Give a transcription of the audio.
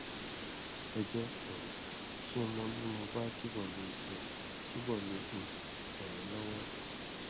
ẹ jẹ um kí n mọ bí mo bá túbọ le um túbọ le um ràn yín lọwọ um